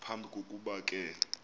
phambi kokuba ke